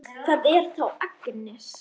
Þú ærir andana!